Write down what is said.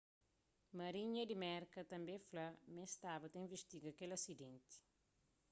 marinha di merka tanbê fla ma es staba ta invistiga kel asidenti